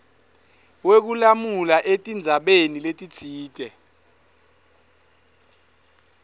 wekulamula etindzabeni letitsite